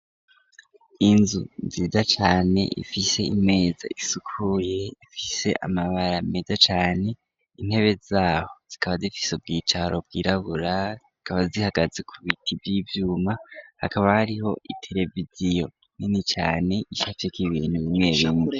Inzu nziza cane ifise imeza isukuye, ifise amabara meza cane, intebe zaho zikaba zifise ubwicaro bwirabura, zikaba zihagaze ku biti vy'ivyuma, hakaba hariho itereviziyo nini cane icafyeko ibintu bimwe bimwe.